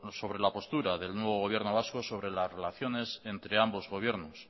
sobre la postura del nuevo gobierno vasco sobre las relaciones entre ambos gobiernos